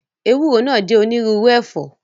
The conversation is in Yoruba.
Ewúro náà jẹ́ onírúurú ẹ̀fọ́